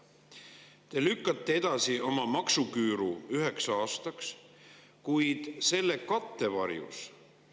Te lükkate edasi oma maksuküüru üheks aastaks, kuid selle kattevarjus …